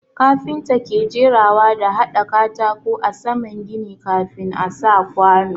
Kafinta ke jerawa da hada katako a saman gini kafin a sa kwanu.